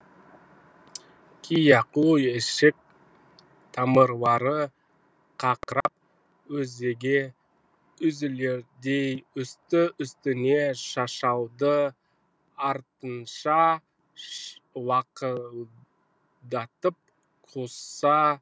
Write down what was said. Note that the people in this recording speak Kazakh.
кияку ішек тамырлары қақырап өзегі үзілердей үсті үстіне шашалды артынша лақылдатып құса бастады